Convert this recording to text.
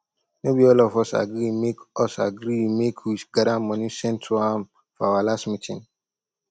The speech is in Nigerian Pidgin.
no be all of us agree make us agree make we gather money send to am for our last meeting